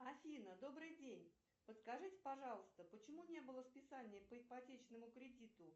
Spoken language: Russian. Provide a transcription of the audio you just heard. афина добрый день подскажите пожалуйста почему не было списания по ипотечному кредиту